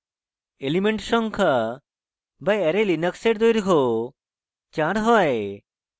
elements সংখ্যা the array linux এর দৈর্ঘ্য চার হয়